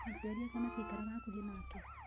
Aciari ake matiikaraga hakuhĩ nake